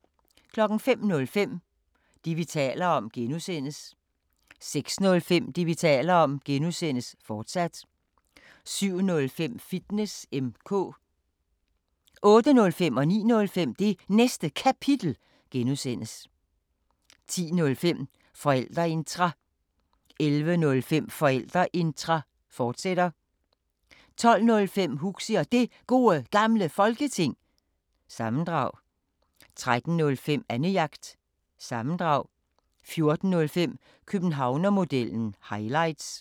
05:05: Det, vi taler om (G) 06:05: Det, vi taler om (G), fortsat 07:05: Fitness M/K 08:05: Det Næste Kapitel (G) 09:05: Det Næste Kapitel (G) 10:05: Forældreintra 11:05: Forældreintra, fortsat 12:05: Huxi Og Det Gode Gamle Folketing- sammendrag 13:05: Annejagt – sammendrag 14:05: Københavnermodellen – highlights